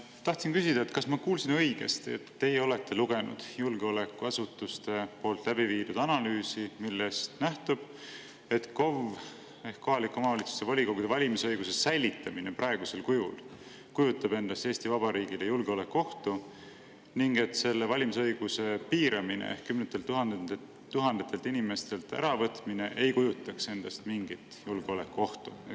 Tahtsin küsida, kas ma kuulsin õigesti, et teie olete lugenud julgeolekuasutuste tehtud analüüsi, millest nähtub, et KOV‑ide ehk kohalike omavalitsuste volikogude valimise õiguse säilitamine praegusel kujul kujutab endast Eesti Vabariigile julgeolekuohtu ning et selle valimisõiguse piiramine ehk kümnetelt tuhandetelt inimestelt äravõtmine ei kujutaks endast mingit julgeolekuohtu.